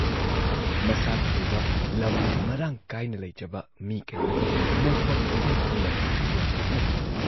ꯃꯁꯥꯥꯒꯤ ꯑꯣꯏꯕ ꯂꯝ ꯃꯔꯥꯡꯀꯥꯏꯅ ꯂꯩꯖꯕ ꯃꯤ ꯀꯌꯥꯅ ꯃꯣꯡꯐꯝ ꯑꯣꯏꯕ ꯌꯥꯕ ꯂꯝ ꯌꯣꯟꯊꯣꯛꯅꯩ ꯫